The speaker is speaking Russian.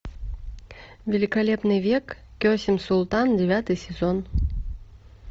великолепный век кесем султан девятый сезон